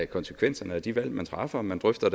konsekvenserne af de valg man træffer og man drøfter